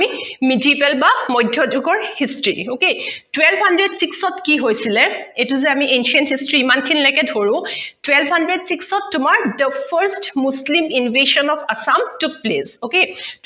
medival বা মধ্যযুগৰ history okay twelve hundred six ত কি হৈছিলে এইটো যে আমি ancient history ইমান খিনি লৈকে ধৰো twelve hundred six ত তোমাৰ the first muslim invasions of assam to place okay